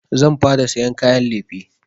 Zan fara sayan kayan lefe.